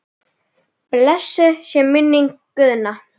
Blessuð sé minning Guðna.